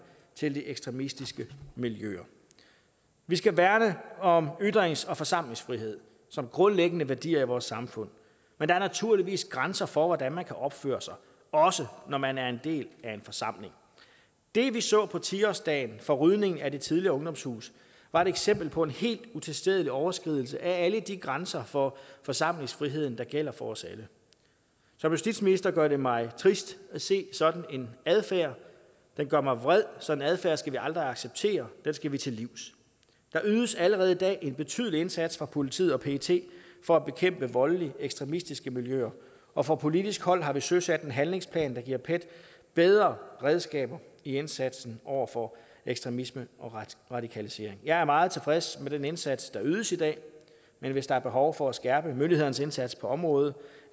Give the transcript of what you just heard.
til de ekstremistiske miljøer vi skal værne om ytrings og forsamlingsfriheden som grundlæggende værdier i vores samfund men der er naturligvis grænser for hvordan man kan opføre sig også når man er en del af en forsamling det vi så på ti årsdagen for rydningen af det tidligere ungdomshus var et eksempel på en helt utilstedelig overskridelse af alle de grænser for forsamlingsfriheden der gælder for os alle som justitsminister gør det mig trist at se sådan en adfærd og det gør mig vred sådan en adfærd skal vi aldrig acceptere den skal vi til livs der ydes allerede i dag en betydelig indsats af politiet og pet for at bekæmpe voldelige ekstremistiske miljøer og fra politisk hold har vi søsat en handlingsplan der giver pet bedre redskaber i indsatsen over for ekstremisme og radikalisering jeg er meget tilfreds med den indsats der ydes i dag men hvis der er behov for at skærpe myndighedernes indsats på området